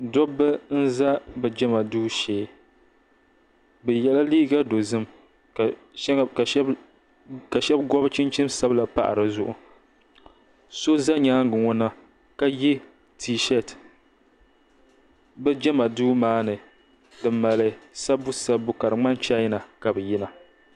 Dobba n za bɛ jema duu shee bɛ yela liiga dozim ka sheba gɔbi chinchin sabila pa dizuɣu so za nyaanga ŋɔ na ye t-sheeti bɛ jema duu maani di mali sabbu sabbu ka di ŋmani chaina ka bɛ yina.